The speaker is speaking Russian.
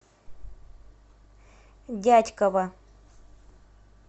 дятьково